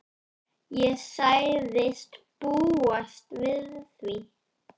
Ég sagðist búast við því.